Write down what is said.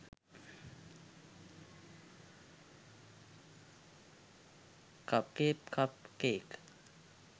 cupcake cup cake